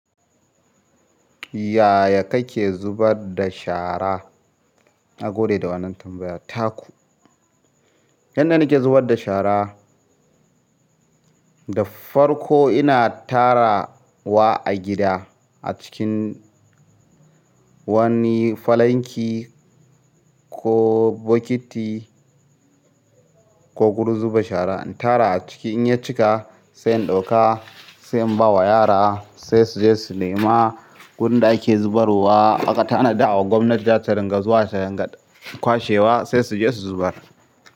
Yaya kake zubar da shara? Na gode da wannan tambayar. Taku, yanda na ke zubar da shara, da farko ina tara wa a gida acikin wani falanki, ko botiki ko gurin zuba shara in tara a ciki in ya cika sai in ɗauka, sai in ba wa yara sai su je su nema wurin da ake zubar wa. Aka tanada wa gwamnati zata ringa zuwa tayin kwashewa sai su je su zubar.